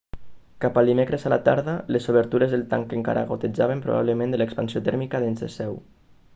cap al dimecres a la tarda les obertures del tanc encara gotejaven probablement de l'expansió tèrmica dins seu